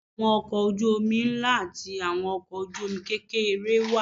Àwọn ọkọ̀ ojú omi ńlá àti àwọn ọkọ ojú omi kékeré wà.